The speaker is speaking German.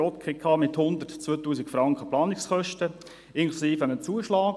Die JGK weist Planungskosten von 102 000 Franken aus, inklusive einem Zuschlag.